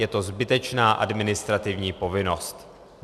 Je to zbytečná administrativní povinnost.